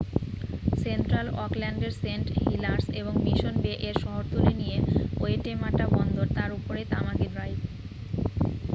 central অকল্যান্ডের Saint Heliers এবং Mission বে-এর শহরতলি নিয়ে ওয়েটেমাটা বন্দর তার উপরেই তামাকি ড্রাইভ